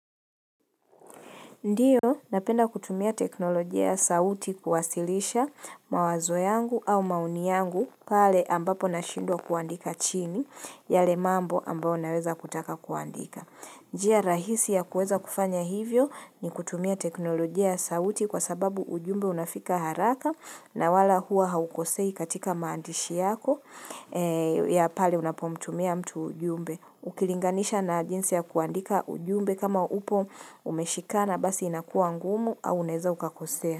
Ndio, napenda kutumia teknolojia ya sauti kuwasilisha mawazo yangu au maoni yangu pale ambapo na shindwa kuandika chini yale mambo ambao naweza kutaka kuandika. Njia, rahisi ya kuweza kufanya hivyo ni kutumia teknolojia ya sauti kwa sababu ujumbe unafika haraka na wala hua haukosei katika maandishi yako ya pale unapomtumia mtu ujumbe. Ukilinganisha na jinsi ya kuandika ujumbe kama upo umeshikana basi inakuwa ngumu au uneza ukakosea.